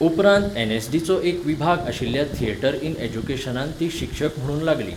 उपरांत एन.एस.डी. चो एक विभाग आशिल्ल्या थियेटर इन एज्युकेशनांत ती शिक्षक म्हुणून लागली.